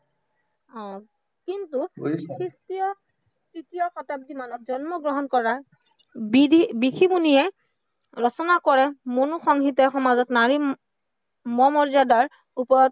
অ কিন্তু, তৃতীয় শতাব্দীমানত জন্মগ্ৰহণ কৰা ঋষি-মুনিয়ে ৰচনা কৰা মৌন সংগীতৰ সমাজত নাৰীৰ সমমৰ্যদাৰ ওপৰত